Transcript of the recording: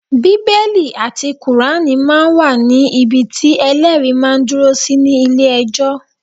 Bíbélì àti Kùránì máa ń wà ní ibi tí Ẹlẹ́rìí máa dúró sí ní ilé ẹjọ́.